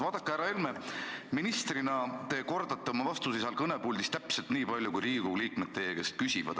Vaadake, härra Helme, ministrina te kordate oma vastuseid seal kõnepuldis täpselt nii palju, kui Riigikogu liikmed teie käest küsivad.